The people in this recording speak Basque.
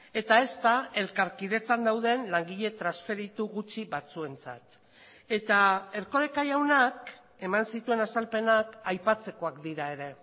eta ezta elkarkidetzan dauden langile transferitu gutxi batzuentzat eta erkoreka jaunak eman zituen azalpenak aipatzekoak dira ere